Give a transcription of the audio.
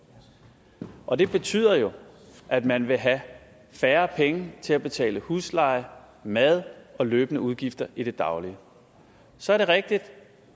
og det betyder jo at man vil have færre penge til at betale husleje mad og løbende udgifter i det daglige så er det rigtigt